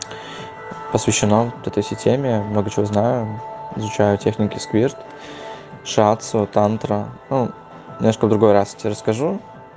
посвящено вот этой всей теме много чего знаю изучаю техники сквирт шатс тантра ну немножко в другой раз я тебе расскажу